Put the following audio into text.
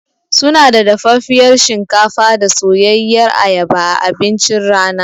Sunada dafaffiyar shinkafa da soyayyiyar ayaba a abincin rana.